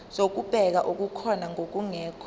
zokubheka okukhona nokungekho